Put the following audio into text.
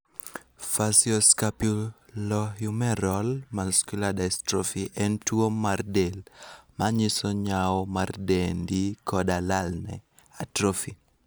Facioscapulohumeral muscular dystrophy en tuwo mar del manyiso nyawo mar dendi koda lalne (atrophy).